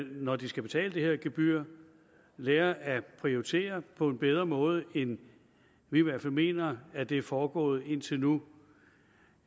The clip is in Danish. når de skal betale det her gebyr lærer at prioritere på en bedre måde end vi i hvert fald mener at det er foregået på indtil nu